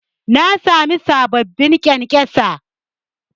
Na sami sababbin ƙyankyasa